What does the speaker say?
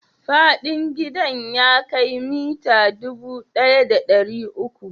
Faɗin gidan ya kai mita dubu ɗaya da ɗari uku?